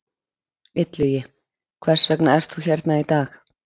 Illugi, hvers vegna ert þú hérna í dag?